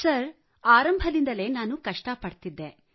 sir ಆರಂಭದಿಂದಲೇ ನಾವು ಕಷ್ಟಪಡುತ್ತಿದ್ದೆವು